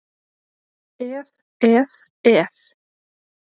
Ef, ef, ef!